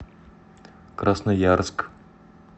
красноярск